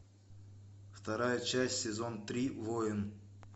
вторая часть сезон три воин